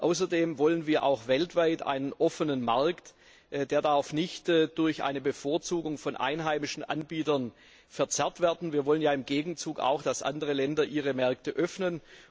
Außerdem wollen wir auch weltweit einen offenen Markt, der nicht durch eine Bevorzugung von einheimischen Anbietern verzerrt werden darf. Wir wollen ja im Gegenzug auch, dass andere Länder ihre Märkte öffnen.